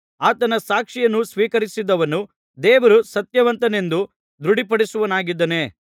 ಆತನ ಸಾಕ್ಷಿಯನ್ನು ಸ್ವೀಕರಿಸಿದವನು ದೇವರು ಸತ್ಯವಂತನೆಂದು ದೃಢಪಡಿಸುವವನಾಗಿದ್ದಾನೆ